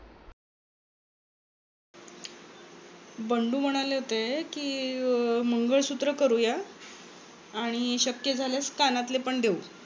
बंडू म्हणाले होते कि मंगळसूत्र करूया आणि शक्य झाल्यास कानातले पण देवू.